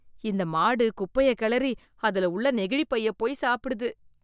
இந்த மாடு குப்பையக் கிளறி அதுல உள்ள நெகிழிப் பையப் போய் சாப்பிடுது.